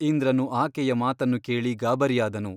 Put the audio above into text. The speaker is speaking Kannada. ಇಂದ್ರನು ಆಕೆಯ ಮಾತನ್ನು ಕೇಳಿ ಗಾಬರಿಯಾದನು.